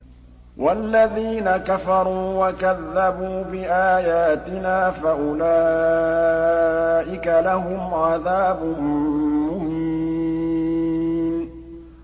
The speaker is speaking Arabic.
وَالَّذِينَ كَفَرُوا وَكَذَّبُوا بِآيَاتِنَا فَأُولَٰئِكَ لَهُمْ عَذَابٌ مُّهِينٌ